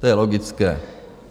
To je logické.